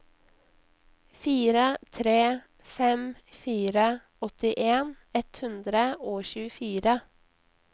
fire tre fem fire åttien ett hundre og tjuefire